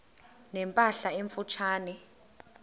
ne mpahla emfutshane